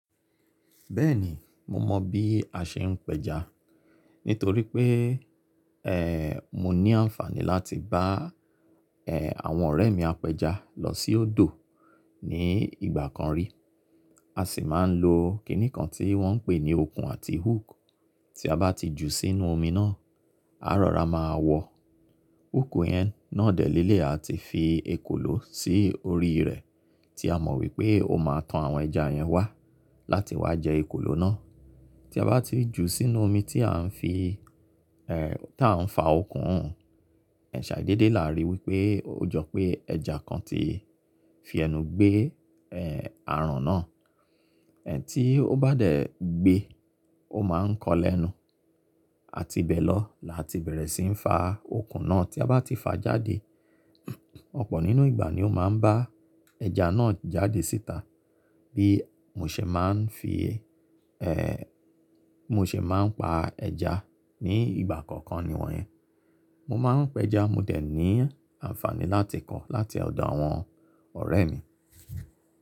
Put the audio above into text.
Bẹ́ẹ̀ni, mo mọ bí a ṣe ń pẹja. Nítorí pé, ẹ́, mo ní àǹfàní láti bá, ẹ́, àwọn ọ̀rẹ́ mi apẹja lọ sí odò ní ìgbà kan rí. A sì máa ń lo kíní kan tí wọ́n ń pè ní okùn àti hook. Tí a bá ti jù sínú omi náà, à rọ̀ra máa wọ hook yẹn náà dẹ̀ lẹ́lẹ̀yi a ti fi ekòló sí orí rẹ̀ tí a mọ̀ wípé ó máa tan àwọn ẹja yẹn wá láti wá jẹ ekòló náà. Tí a bá ti jù sínú omi tí à ń fi ti a ń fa okùn, ẹ́ ṣàdédè làá rí wípé ó jọ pé ẹja kan ti fi ẹnu gbé, ẹ́, aràn náà. Ẹ̀ tí ó bá dẹ̀ gbé, ó máa ń kọ́ lẹ́nu àtibẹ̀ lọ́ làá ti bẹ̀rẹ̀ síi ń fa okùn náà. Tí a bá ti fà jáde, ọ̀pọ̀ nínú ìgbà ni ó máa ń bá ẹja náà jáde síta bí mo ṣe máa ń fi, ẹ́, bimo ṣe máa ń pa ẹja ní ìgbà kọ̀ọ̀kan niwọ̀nyín. Mo máa ń pẹja, mo dẹ̀ ní àǹfàní láti kọ́ láti ọ̀dọ̀ àwọn ọ̀rẹ́ mi.